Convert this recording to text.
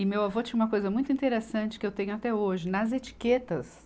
E meu avô tinha uma coisa muito interessante, que eu tenho até hoje, nas etiquetas,